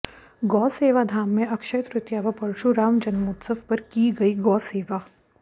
गौ सेवा धाम में अक्षय तृतीया व परशुराम जन्मोत्सव पर की गई गौ सेवा